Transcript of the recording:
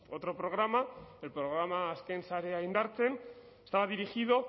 otro programa el programa azken sarea indartzen estaba dirigido